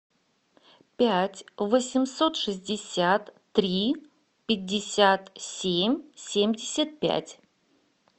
пять восемьсот шестьдесят три пятьдесят семь семьдесят пять